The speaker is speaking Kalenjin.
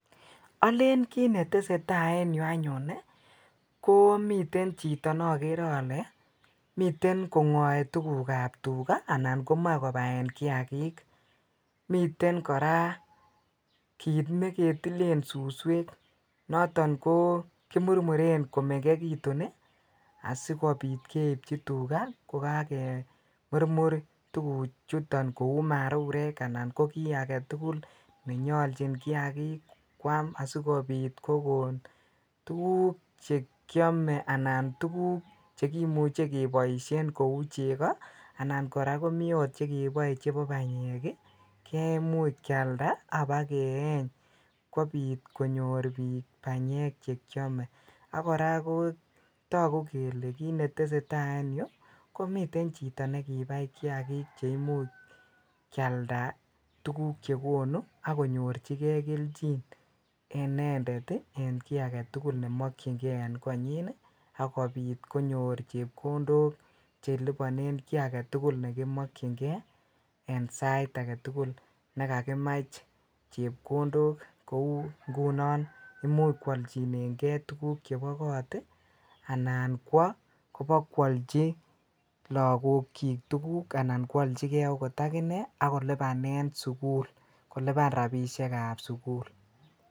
Alen kit netesetai en yuu anyon komiten chitonekere ole miten kongoe tuguk ab tukaa alan kobaen kiakik miten kora kit neketilel suswek noton ko kemurmuren komengekitun asikobit keibchi tukaa ko kakamurmu4 tuguchun kou marurek anan ko ki aketukul nenyolnchi kiakik kwam asikobit kokon tukuk che kiome alan tukuk che chekimuche keboisien ko cheko ana kea komi chekeboe chebobany ii kemuch kealda ak kobakeyeny kobi konyor bik banyek chrome ak kora kotoku kele kit netesetai en yuu ko miten chito nekibai kiakik che imuch kealda tuguk chekonu ak konyorchikei kelchin inended ii en ki agetul nemokyin ken en konyin akobit konyor chebkondok chekilibonen ki aketukul chekimokyinkei en sait agetukul yekakimuch chebkondok ingunon imuch kwolchien kei tukuk chebo kot ii ena kwo kobakwolchi lakochik tuguk Al keolchi akot ak inei ak kolibanen sukul koliban rabishek ab sukul.